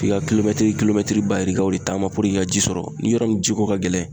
K'i ka kulokɛtiri kilomɛtiri ba yirikaw de taama i ka ji sɔrɔ. Ni yɔrɔ min ji ko ka gɛlɛn